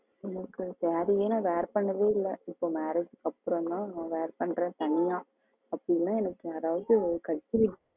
எனக்கு saree எல்லாம் wear பண்ணதே இல்ல இப்போ marriage க்கு அப்புறம் தான் wear பண்றேன் அப்படியெல்லாம் எனக்கு யாராவது wear பண்ணி விடணும்